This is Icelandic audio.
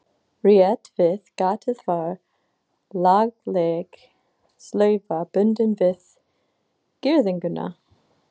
Rétt við gatið var lagleg slaufa bundin við girðinguna.